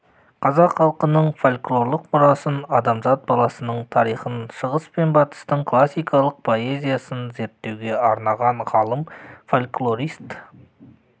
қазақ халқының фольклорлық мұрасын адамзат баласының тарихын шығыс пен батыстың классикалық поэзиясын зерттеуге арнаған ғалым-фольклорист